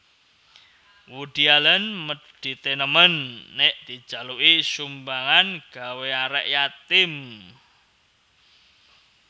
Woody Allen medit e nemen nek dijaluki sumbangan gawe arek yatim